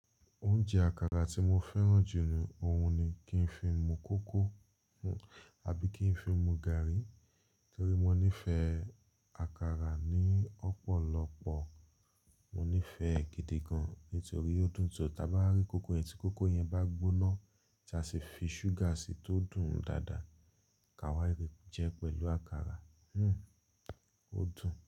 Oúnjẹ àkàrà tí mo fẹ́ràn jù ni òhun ni kí n fi mu kókò àbí kí n fi mu gààrí torí mo nífẹ̀ẹ́ àkàrà ní ọ̀pọ̀lọpọ̀. Mo nífẹ̀ẹ́ è gidi gan nítorí ó dùn tọ́. Tí a bá rí kókò yẹn tí kókò yẹn bá gbóná tí a sì fi ṣúgà sí tó dùn dáadáa, ka wá rẹ jẹ pẹ̀lú àkàrà. Hmmm ó dùn.